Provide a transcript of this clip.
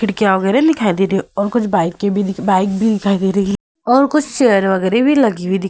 खिड़कियां वगैराह दिखाई दे रही हैं और कुछ बाइकें भी दिख बाइक भी दिखाई दे रही हैं और कुछ चेयर वगैरह भी लगी हुई दिख --